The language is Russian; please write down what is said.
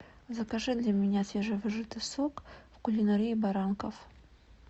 закажи для меня свежевыжатый сок в кулинарии баранков